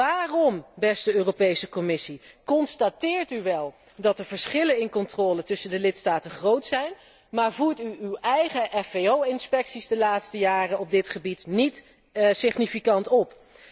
Waarom, beste Commissie, constateert u wel dat de verschillen in controle tussen de lidstaten groot zijn, maar voert u uw eigen FVO inspecties de laatste jaren op dit gebied niet significant op?